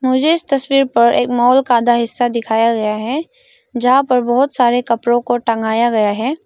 मुझे इस तस्वीर पर एक मॉल आधा हिस्सा दिखाया गया है जहां पर बहोत सारे कपड़ों को टंगाया गया है।